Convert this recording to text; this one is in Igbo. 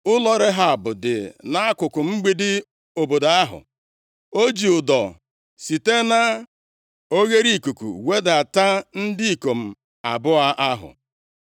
Ụlọ Rehab dị nʼakụkụ mgbidi obodo ahụ. O ji ụdọ site na oghereikuku wedata ndị ikom abụọ ahụ.